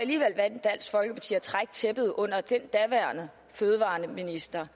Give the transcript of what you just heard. trække tæppet under den daværende fødevareminister